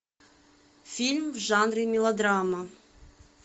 фильм в жанре мелодрама